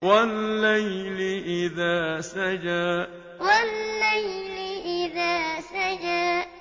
وَاللَّيْلِ إِذَا سَجَىٰ وَاللَّيْلِ إِذَا سَجَىٰ